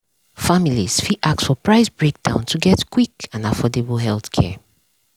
families fit ask for price breakdown to get quick and affordable healthcare.